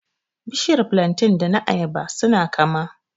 Bishiyar flantain da na ayaba su na kama